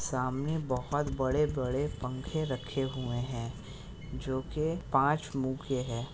सामने बहुत बड़े-बड़े पंखे रखे हुए हैं । जो पांच मुंह के हैं ।